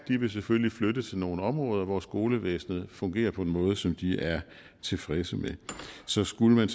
vil selvfølgelig flytte til nogle områder hvor skolevæsenet fungerer på en måde som de er tilfredse med så skulle man